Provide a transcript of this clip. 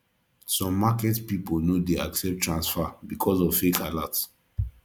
some market pipo no de accept transfer because of fake alerts